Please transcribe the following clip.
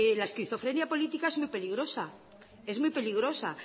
la esquizofrenia política es muy peligrosa es muy peligrosa